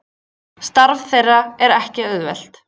Starf þeirra er ekki auðvelt